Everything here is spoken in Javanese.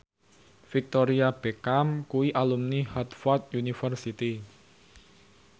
Victoria Beckham kuwi alumni Harvard university